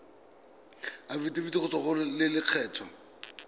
afitafiti go tswa go lelokolegolo